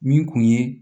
Min kun ye